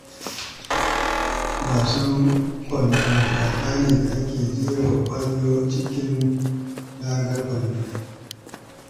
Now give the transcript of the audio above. Wasan kwando wasa ne da ake jefa ƙwallo cikin raga ta kwando.